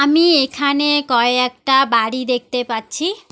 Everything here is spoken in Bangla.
আমি এখানে কয়েকটা বাড়ি দেখতে পাচ্ছি।